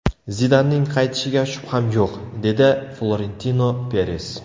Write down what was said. Zidanning qaytishiga shubham yo‘q”, dedi Florentino Peres.